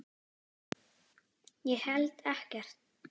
Ég held ekkert.